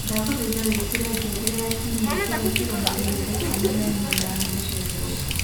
ndagũthaita wĩkire ngengere ya Kiumia kĩrĩa kĩrũmĩrĩire, thaa ikũmi na ĩmwe na nuthu cia kĩroko